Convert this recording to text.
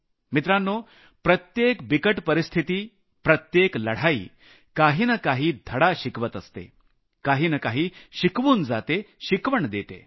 मित्रांनो प्रत्येक बिकट परिस्थिती प्रत्येक लढाई काही न काही धडा शिकवत असते काही न काही शिकवून जाते शिकवण देते